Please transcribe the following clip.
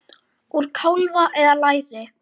Úr kálfa eða læri!